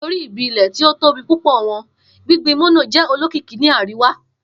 Nitori ibi-ilẹ ti o tobi pupọ wọn, gbingbin mono jẹ olokiki ni ariwa